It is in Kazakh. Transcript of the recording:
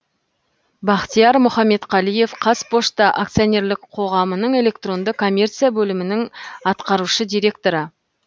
бахтияр мұхаметқалиев қазпошта акционерлік қоғамының электронды коммерция бөлімінің атқарушы директоры